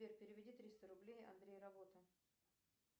сбер переведи триста рублей андрей работа